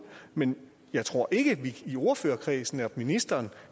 men jeg tror ikke at vi i ordførerkredsen eller ministeren